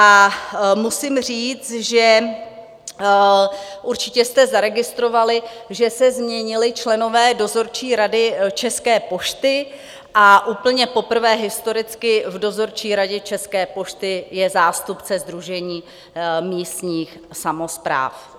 A musím říct, že určitě jste zaregistrovali, že se změnili členové Dozorčí rady České pošty a úplně poprvé historicky v Dozorčí radě České pošty je zástupce Sdružení místních samospráv.